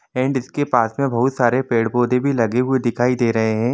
And इसके पास मे बहुत सारे पेड़-पोधे भी लगे हुए दिखाई दे रहे है।